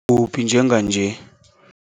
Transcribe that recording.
uphi njenganje?